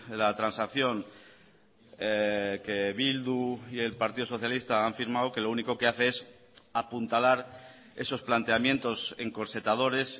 la transacción que bildu y el partido socialista han firmado que lo único que hace es apuntalar esos planteamientos encorsetadores